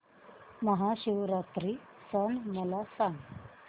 महाशिवरात्री सण मला सांग